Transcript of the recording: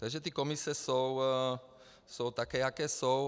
Takže ty komise jsou takové, jaké jsou.